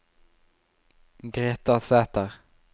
Greta Sæther